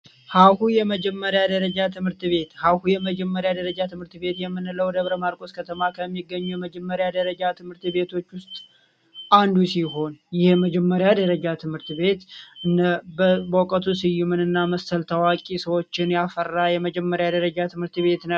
ሀሁ የመጀመሪያ ደረጃ ትምህርት ቤት! ሀሁ የመጀመሪያ ደረጃ ትምህርት ቤት የምንለው በደብረ ማርቆስ ከተማ ከሚገኙ የመጀመሪያ ደረጃ ትምህርት ቤቶች ውስጥ አንዱ ሲሆን ይህ የመጀመሪያ ደረጃ ትምህርት ቤት እነ በውቀቱ ስዩም እና የመሳሰሉ ታዋቂ ሰዎችን ያፈራ የመጀመሪያ ደረጃ ትምህርት ቤት ነው።